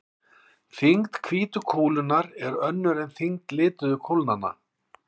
Þyngd hvítu kúlunnar er önnur en þyngd lituðu kúlnanna.